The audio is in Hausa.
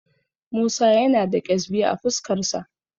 Musa yana da ƙyezbi a fuskarsa.